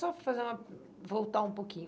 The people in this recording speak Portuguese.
só fazer uma, voltar um pouquinho.